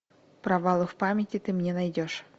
провалы в памяти ты мне найдешь